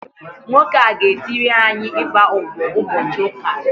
Nwoke a ga-etiri anyị ịgba ụbọ ụbọchị ụka a